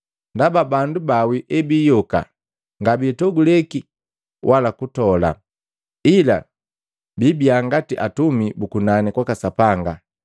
Ndaba bandu bawii ebiyoka ngabitoguleki wala kutola, ila biibiya ngati atumi bu kunani kwaka Sapanga.